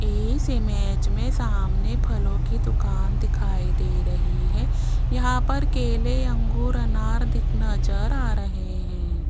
इस इमेज में सामने फलों की दुकान दिखाई दे रही है यहां पर केले अंगूर अनार दिख नज़र आ रहे हैं।